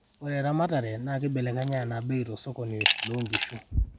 ore eramatare naa kibelekenya enaa bei tosokoni loonkishu